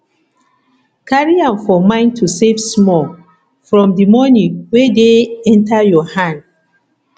carry am for mind to save small from di money wey dey enter your hand